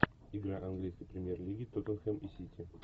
игра английской премьер лиги тоттенхэм и сити